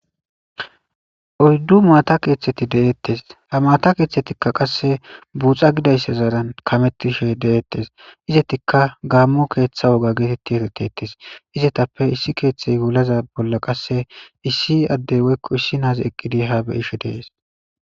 Oyddu maata keeththeti deettes ha maata keeththetikka qasse buuxa gidayssa zaaran kamettishe deettes izetikka gaammo keeththa woga geetetti eretettes izetappe issi keeththey wulaza bolla qasse issi addey woykko issi naazi eqqidi ha be ishe dees.